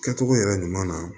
Kɛcogo yɛrɛ ɲuman na